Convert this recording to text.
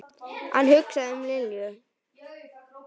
Hann hugsaði um Linju.